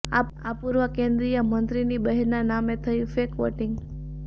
આ પૂર્વ કેન્દ્રીય મંત્રીની બહેનના નામે થયુ ફૅક વોટિંગ